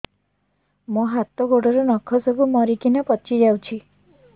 ମୋ ହାତ ଗୋଡର ନଖ ସବୁ ମରିକିନା ପଚି ଯାଉଛି